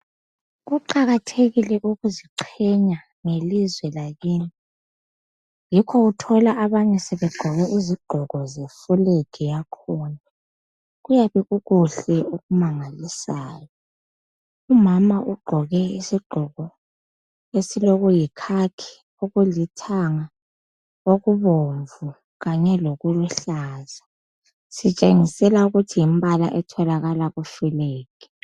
Kuqakathekile ukuziqhenya ngelizwe lakini. Yikho uthola abanye sebegqoke izigqoko zefulegi yakhona. Kuyabe kukuhle okumangalisayo. Umama ugqoke isigqoko esilo kuyikhakhi okulithanga, okubomvu kanye lokuluhlaza. Sitshengisela ukuthi yimbala etholakala kufulegi.